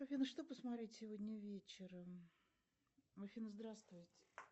афина что посмотреть сегодня вечером афина здравствуйте